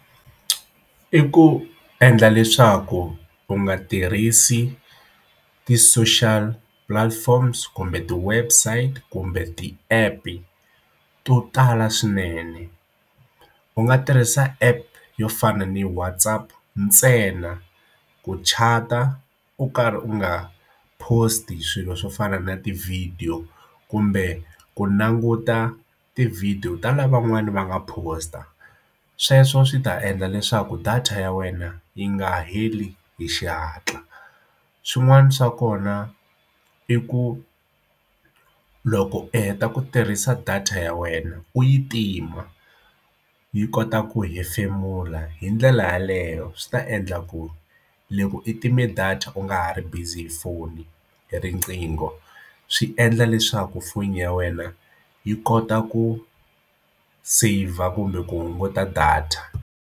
I ku endla leswaku u nga tirhisi ti-social platforms kumbe ti-website kumbe ti-app e to tala swinene u nga tirhisa app yo fana ni WhatAapp ntsena ku chat-a u karhi u nga post a swilo swo fana na ti-video kumbe ku languta ti video ta lavan'wana va nga post a sweswo swi ta endla leswaku data ya wena yi nga heli hi xihatla swin'wana swa kona i ku loko u heta ku tirhisa data ya wena u yi tima yi kota ku hefemula hi ndlela yaleyo swi ta endla ku leku i time data u nga ha ri busy hi foni hi riqingho swi endla leswaku foni ya wena yi kota ku saver kumbe ku hunguta data.